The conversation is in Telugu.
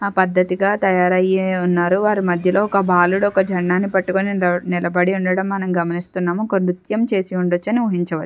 ఆ పద్దతిగా తయారయ్యి ఉన్నారు వారి మధ్యలో ఒక బాలుడు ఒక జెండా ని పట్టుకొని నిలబడి ఉండడం మనం గమనిస్తున్నాము ఒక నృత్యం చేసి ఉండొచ్చని ఊహించవచ్చు.